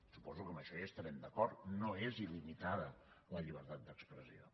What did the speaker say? suposo que en això hi estarem d’acord no és il·limitada la llibertat d’expressió